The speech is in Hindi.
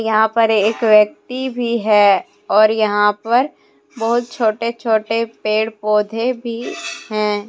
यहां पर एक व्यक्ति भी है और यहां पर बहुत छोटे छोटे पेड़ पौधे भी हैं।